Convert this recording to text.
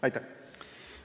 Aitäh!